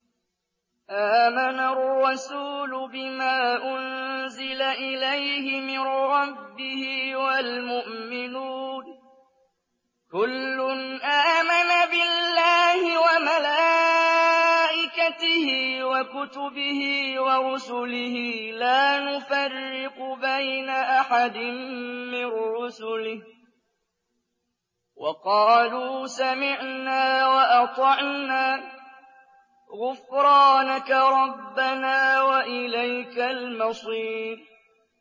آمَنَ الرَّسُولُ بِمَا أُنزِلَ إِلَيْهِ مِن رَّبِّهِ وَالْمُؤْمِنُونَ ۚ كُلٌّ آمَنَ بِاللَّهِ وَمَلَائِكَتِهِ وَكُتُبِهِ وَرُسُلِهِ لَا نُفَرِّقُ بَيْنَ أَحَدٍ مِّن رُّسُلِهِ ۚ وَقَالُوا سَمِعْنَا وَأَطَعْنَا ۖ غُفْرَانَكَ رَبَّنَا وَإِلَيْكَ الْمَصِيرُ